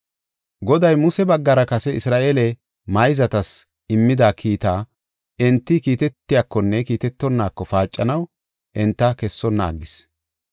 Goday Muse baggara kase Isra7eele mayzatas immida kiita enti kiitetiyakonne kiitetonaako paacanaw enta kessonna aggis.